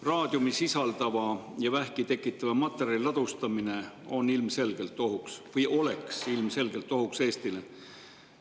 Raadiumi sisaldava ja vähki tekitava materjali ladustamine oleks ilmselgelt ohuks Eestile.